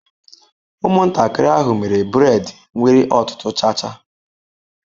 Ụmụntakịrị ahụ mere braid nwere ọtụtụ cha cha.